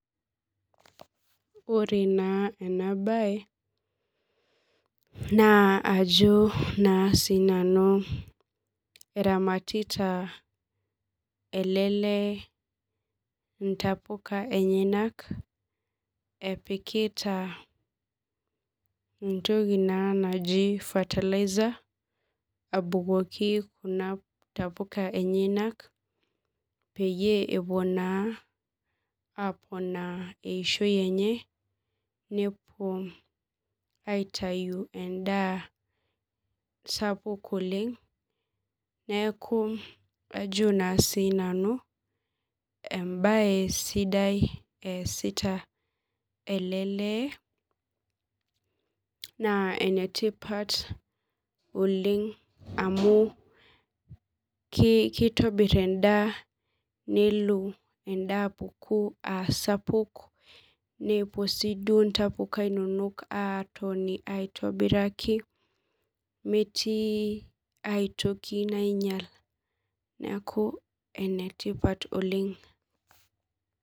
Ore naa ena baye naa ajo naa sii nanu eramatita ele leee intapuka enyanak epikita entoki naji fertilizer abukoki kuna tapuka enyanak peepuo aaponaa eishio enye ,ajo naa nanu embaye sidai eesita ele lee naa enetipat oleng amu keitobir endaa nelo endaa apuku aa sapuk nepuo intapuka aabuku aitobiraki metii ai toki nainyial neeku enetipat oleng